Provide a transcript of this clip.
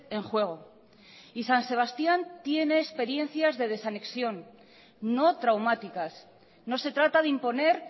en juego y san sebastián tiene experiencia de desanexión no traumáticas no se trata de imponer